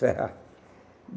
Serrar.